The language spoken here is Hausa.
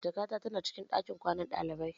Jakata ta na cikin ɗakin kwanan ɗalibai.